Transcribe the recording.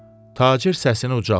Tacir səsini ucaltdı.